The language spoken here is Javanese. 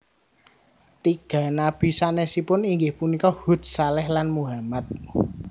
Tiga nabi sanesipun inggih punika Hud Shaleh lan Muhammad